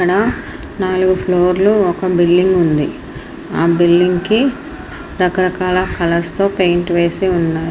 ఇక్కడ నాలుగు ఫ్లోర్లు ఒక బిల్డింగు ఉంది. ఆ బిల్లింగ్ కి రకరకాల కలర్స్ తో పేంట్ వేసి ఉన్న --